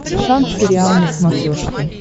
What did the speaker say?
шант сериал на смотрешке